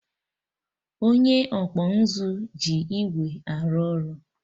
Onye ọkpụ nzụ ji igwe arụ ọrụ